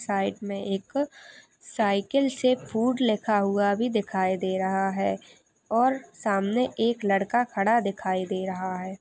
Side में एक cycle से फूड लिखा हुआ भी दिखाई दे रहा हैं और सामने एक लड़का खड़ा दिखाई दे रहा हैं।